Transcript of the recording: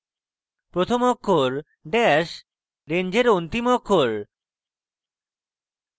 প্রথম অক্ষর dash range অন্তিম অক্ষর